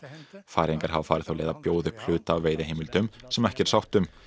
Færeyingar hafa farið þá leið að bjóða upp hluta af veiðiheimildum sem ekki er sátt um